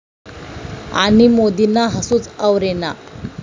...आणि मोदींना हसूच आवरेना